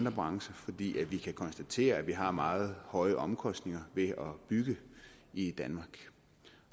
brancher fordi vi kan konstatere at vi har meget høje omkostninger ved at bygge i danmark